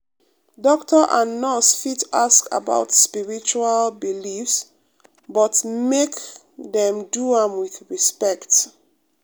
doctor and nurse fit ask about spiritual beliefs but make dem do am wit respect.